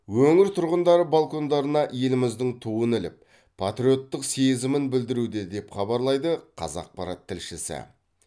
өңір тұрғындары балкондарына еліміздің туын іліп патриоттық сезімін білдіруде деп хабарлайды қазақпарат тілшісі